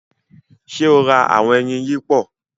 Ṣe o rá awọn ẹyin yipo?